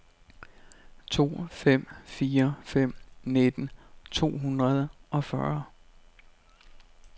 to fem fire fem nitten to hundrede og fyrre